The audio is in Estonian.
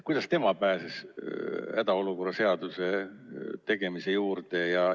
Kuidas tema pääses hädaolukorra seaduse tegemise juurde?